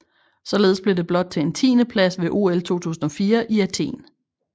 Således blev det blot til en tiendeplads ved OL 2004 i Athen